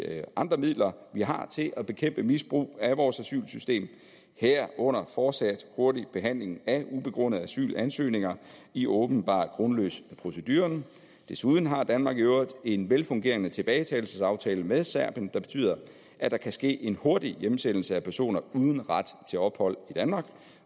andre midler vi har til at bekæmpe misbrug af vores asylsystem herunder fortsat hurtig behandling af ubegrundede asylansøgninger i åbenbart grundløs proceduren desuden har danmark i øvrigt en velfungerende tilbagetagelsesaftale med serbien der betyder at der kan ske en hurtig hjemsendelse af personer uden ret til ophold i danmark